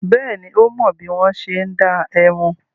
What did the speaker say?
Bẹ́ẹ̀ni, ó mọ bí wọ́n ṣe ń dá ẹmu.